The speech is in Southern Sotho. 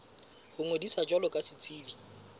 ho ngodisa jwalo ka setsebi